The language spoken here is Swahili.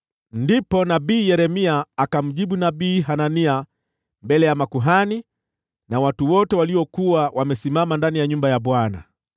Ndipo nabii Yeremia akamjibu nabii Hanania mbele ya makuhani na watu wote waliokuwa wamesimama ndani ya nyumba ya Bwana .